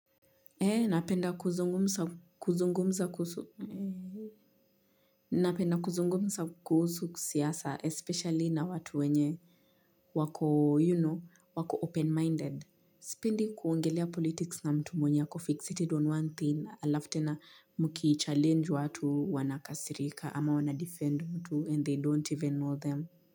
Ee napenda kuzungumza kuzungumza kuhusu napenda kuzungumza kusu siasa especially na watu wenye wako you know wako open minded sipendi kuongelea politics na mtu mwenye ako fixited on one thing alafu tena mkichallenge watu wanakasirika ama wana defend mtu and they don't even know them.